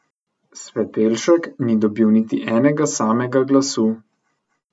Svetelšek ni dobil niti enega samega glasu.